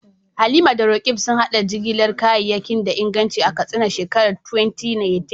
Halima da Roqeeb sun haɗa jigilar kayayyaki da inganci a Katsina a shekarar 2018.